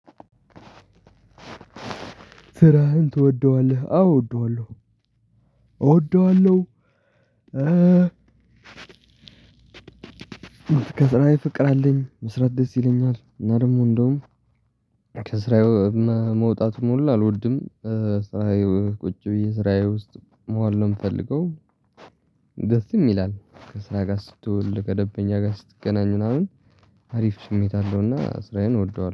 ስራህን ትወደዋለህ? አወ እወደዋለሁ። እወደዋለሁ ከስራዬ ፍቅር አለኝ መስራት ደስ ይለኛል እና ደግሞ እንደውም ከስራዬ መውጣቱ ሙሉን አልወድም። ስራዬ ቁጭ ብዬ ስራዬ ውስጥ መዋል ነው ምፈልገው። ደስም ይላል። ከስራ ጋር ስትውል፣ ከደንበኛ ጋር ስትገናኝ ምናምን አሪፍ ስሜት አለውና ስራዬን እወደዋለሁ።